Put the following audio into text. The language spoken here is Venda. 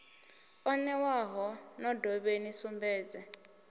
o newaho no dovheni sumbedze